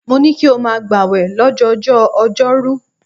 Mo ní kí o máa gbàwẹ̀ lọ́jọjọ́ọ ọjọ́rú.